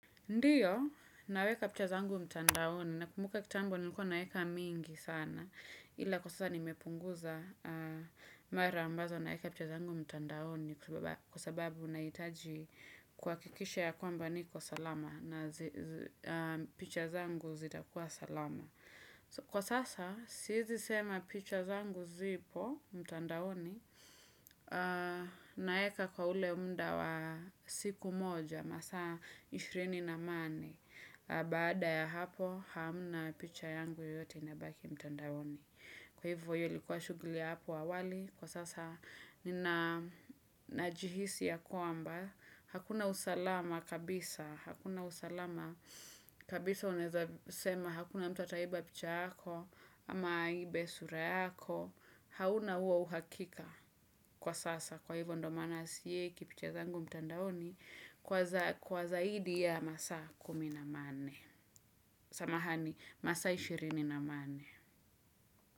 Ndiyo naweka picha zangu mtandaoni nakumbuka kitambo nilikuwa naweka mingi sana ila kwa sasa nimepunguza mara ambazo naeka picha zangu mtandaoni kwa sababu unaitaji kwa kikisha ya kwamba niko salama na picha zangu zitakuwa salama. Kwa sasa, sisi sema picha zangu zipo, mtandaoni, naeka kwa ule mda wa siku moja, masaa ishirini na mane, baada ya hapo hamna picha yangu yote inabaki mtandaoni. Kwa hivyo iyo ilikuwa shuguli ya apo awali, kwa sasa nina najihisi ya kuamba, hakuna usalama kabisa, hakuna usalama kabisa uneza sema, hakuna mta taiba picha hako, ama ibe sura hako, hauna uwa uhakika kwa sasa. Kwa hivyo ndo mana siyeikipicha zangu mtandaoni, kwa zaidi ya masa kumi na mane, samahani masa ishirini na mane.